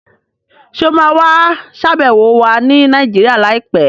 Ṣé o ma wà ṣàbẹ̀wọ̀ wa ni Nàìjíríà láìpẹ́?